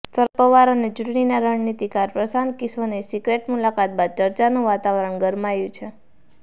શરદ પવાર અને ચૂંટણીના રણનીતિકાર પ્રશાંત કિશોરની સિક્રેટ મુલાકાત બાદ ચર્ચાનું વાતાવરણ ગરમાયું છે